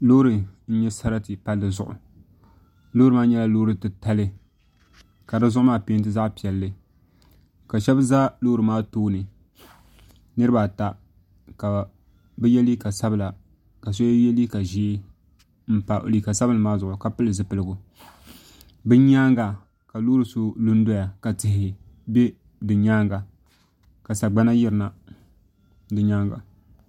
Loori n nyɛ sarati palli zuɣu loori maa nyɛla loori titali ka di zuɣu maa peenti zaɣ piɛlli ka shab ʒɛ loori maa tooni niraba ata ka bi yɛ liiga sabila ka so yɛ liiga ʒiɛ n pa liiga sabinli maa zuɣu ka pili zipiligu bi nyaanga ka loori so lu n doya ka tihi bɛ bi nyaanga ka sagbana yirina bi nyaanga